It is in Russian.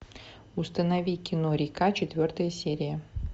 установи кино река четвертая серия